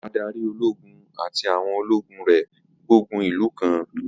Adarí ológun àti àwọn ológun rẹ̀ gbógun ìlú kan.